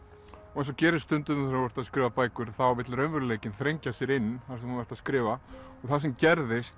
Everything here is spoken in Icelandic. og eins og gerist stundum þegar þú ert að skrifa bækur þá vill raunveruleikinn þrengja sér inn þar sem þú ert að skrifa það sem gerðist